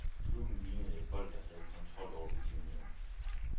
Klubben lignede et hold, der havde kontrol over begivenhederne.